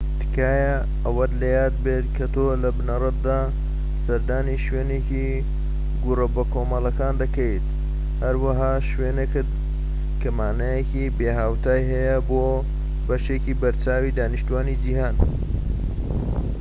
تکایە ئەوەت لە یاد بێت کە تۆ لە بنەڕەتدا سەردانی شوێنێکی گۆڕە بەکۆمەڵەکان دەکەیت، هەروەها شوێنێک کە مانایەکی بێهاوتای هەیە بۆ بەشێکی بەرچاوی دانیشتوانی جیهان‎